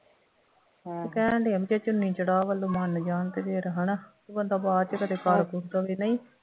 ਉਹ ਕਹਿਣ ਡੇ ਆ ਬਈ ਜੇ ਚੁੰਨੀ ਚੜਾਅ ਵੱਲੋਂ ਮੰਨ ਜਾਣ ਤੇ ਫੇਰ ਹੈ ਨਾ ਬੰਦਾ ਬਾਅਦ ਚ ਕਦੇ ਕਰ ਕੁਰ ਦੇਵੇ ਨਹੀਂ